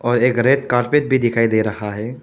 और एक red carpet भी दिखायी दे रहा है।